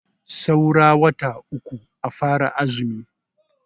Saura wata uku a fara azumi.